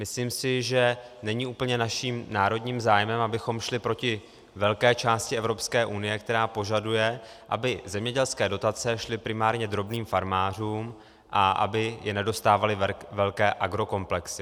Myslím si, že není úplně naším národním zájmem, abychom šli proti velké části Evropské unie, která požaduje, aby zemědělské dotace šly primárně drobným farmářům a aby je nedostávaly velké agrokomplexy.